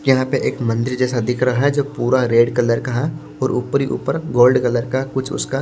यहां पे एक मंदिर जैसा दिख रहा है जो पूरा रेड कलर का है और ऊपर ही ऊपर गोल्ड कलर का कुछ उसका --